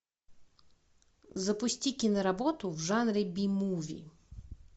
запусти киноработу в жанре би муви